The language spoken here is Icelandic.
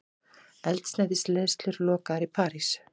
Eldsneytisleiðslur lokaðar í París